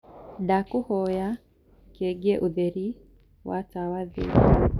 ndakũhoya kengiaũtherĩ wa wa matawa thii